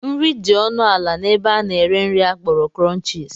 Nri dị ọnụ ala n'ebe a na-ere nri akpọrọ Krọnchis.